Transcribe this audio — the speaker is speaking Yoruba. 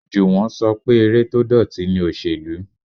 Juwon ṣọ pé eré tó dọ̀tí ni òsèlú.